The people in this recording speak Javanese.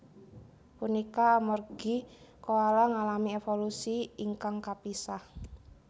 Punika amargi koala ngalami évolusi ingkang kapisah